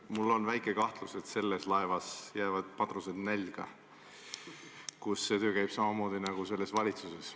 Mul on väike kahtlus, et selles laevas jäävad madrused nälga, kus töö käib samamoodi nagu selles valitsuses.